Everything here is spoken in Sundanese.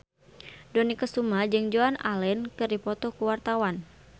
Dony Kesuma jeung Joan Allen keur dipoto ku wartawan